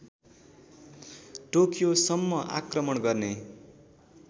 टोकियोसम्म आक्रमण गर्ने